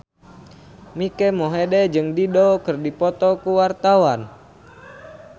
Mike Mohede jeung Dido keur dipoto ku wartawan